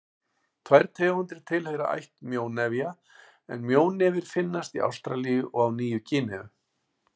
Tvær tegundir tilheyra ætt mjónefja en mjónefir finnast í Ástralíu og á Nýju-Gíneu.